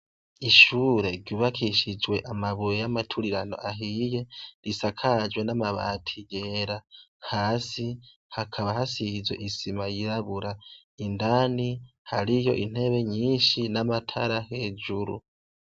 Ishure ryubakishijwe amabuye y'amaturirano ahiye, risakajwe n'amabati yera hasi hakaba hasizwe isima yirabura. Indani hariyo intebe nyinshi n'amatara hejuru.